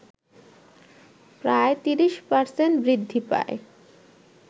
প্রায় ৩০% বৃদ্ধি পায়